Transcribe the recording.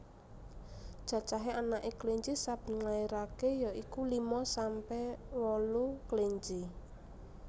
Cacahé anaké kelinci saben nglairaké ya iku lima sampe wolu kelinci